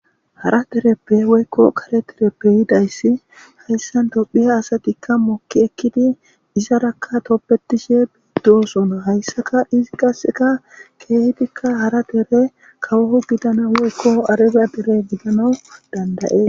Hara derepe woyko kare derepe yidays ha tophiya asatika moki ekidi izaraka tobetishe dosona hasaka izi qaseka kehidika hara dere kawo gidana eyko arbiya dere kawo gidan dand'aes